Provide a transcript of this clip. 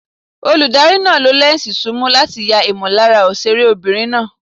Olùdarí náà lo lẹ́ǹsì súùmù láti ya ìmọ̀lára òṣèré obìnrin náà.